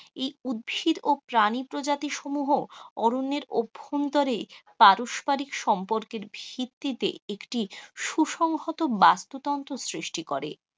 এই উদ্ভিদ এবং প্রাণী প্রজাতি সমুহ অরণ্যের অভ্যন্তরে পারস্পারিক সম্পর্কের ভিত্তিতে একটি সুসংহত বাস্তু তন্ত্রের সৃষ্টি করে.